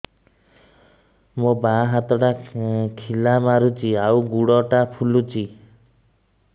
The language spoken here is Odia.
ମୋ ବାଆଁ ହାତଟା ଖିଲା ମାରୁଚି ଆଉ ଗୁଡ଼ ଟା ଫୁଲୁଚି